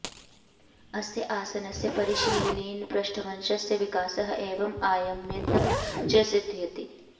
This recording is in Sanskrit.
अस्य आसनस्य परिशीलनेन पृष्ठवंशस्य विकासः एवं आयम्यत्व च सिद्ध्यति